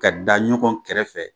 Ka da ɲɔgɔn kɛrɛfɛ